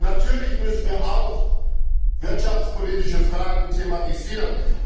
Natürlich müssen wir auch wirtschaftspolitische Fragen thematisieren.